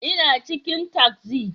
Ina cikin taksi